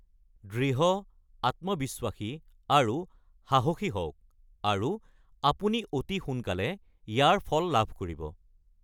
দৃঢ়, আত্মবিশ্বাসী, আৰু সাহসী হওক আৰু আপুনি অতি সোনকালে ইয়াৰ ফল লাভ কৰিব।